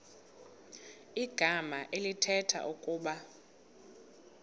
igama elithetha ukuba